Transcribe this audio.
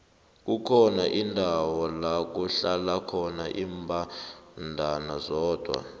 kukhona indawo lakuhlala khona imbandana zodwa